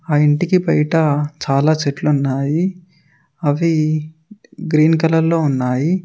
ఆ ఇంటికి బయట చాలా చెట్లు ఉన్నాయి అవి గ్రీన్ కలర్ లో ఉన్నాయి.